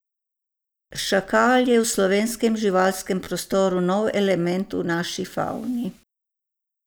Šakal je v slovenskem živalskem prostoru nov element v naši favni.